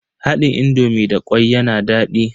Haɗin indomi da kyau yana daɗi.